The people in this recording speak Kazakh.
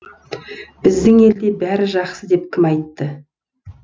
біздің елде бәрі жақсы деп кім айтты